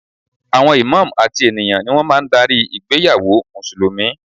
Àwọn Imam àti ènìyàn ni wọ́n máa ń darí ìgbéyàwó Mùsùlùmí